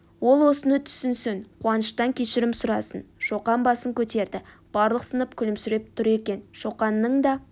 ол осыны түсінсін қуаныштан кешірім сұрасын шоқан басын көтерді барлық сынып күлімсіреп тұр екен шоқанның да